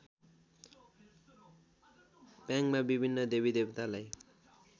प्याङमा विभिन्न देवीदेवतालाई